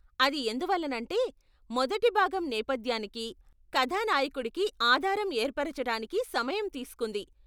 అది ఎందువల్లనంటే మొదటి భాగం నేపధ్యానికి, కథానాయకుడికి ఆధారం ఏర్పరచటానికి సమయం తీస్కుంది.